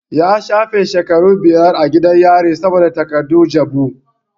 Ya shafe shekaru biyar a gidan yari saboda takardun jabu.